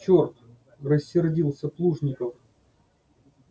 черт рассердился плужников